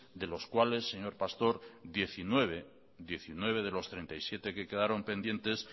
de los cuales diecinueve de los treinta y siete que quedaron pendientes